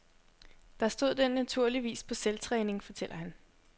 Der stod den naturligvis på selvtræning, fortæller han.